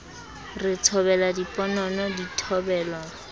re thobela diponono di thobelwa